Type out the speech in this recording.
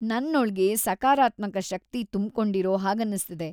ನನ್ನೊಳ್ಗೆ ಸಕಾರಾತ್ಮಕ ಶಕ್ತಿ ತುಂಬ್ಕೊಂಡಿರೋ ಹಾಗನ್ನಿಸ್ತಿದೆ.